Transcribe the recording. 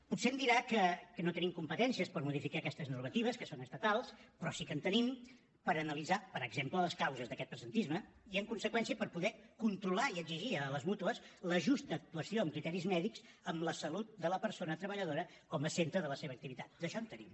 potser em dirà que no tenim competències per modificar aquestes normatives que són estatals però sí que en tenim per analitzar per exemple les causes d’aquest presentisme i en conseqüència per poder controlar i exigir a les mútues la justa actuació amb criteris mèdics amb la salut de la persona treballadora com a centre de la seva activitat d’això en tenim